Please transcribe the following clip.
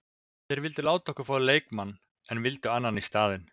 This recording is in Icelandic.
Þeir vildu láta okkur fá leikmann en vildu annan í staðinn.